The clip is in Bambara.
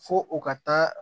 Fo o ka taa